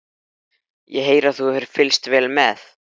Ég heyri að þú hefur fylgst vel með.